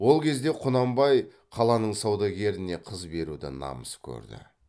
ол кезде құнанбай қаланың саудагеріне қыз беруді намыс көрді